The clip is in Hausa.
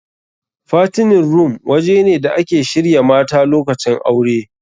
Fattening room waje ne da ake shirya mata lokacin aure.